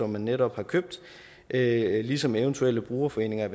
man netop har købt er ligesom eventuelle brugerforeninger